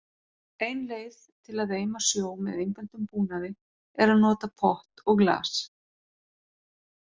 Ein leið til að eima sjó með einföldum búnaði er að nota pott og glas.